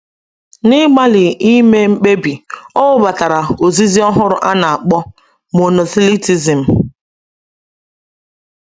N’ịgbalị ime mkpebi, o webatara ozizi ọhụrụ a na-akpọ Monothelitism.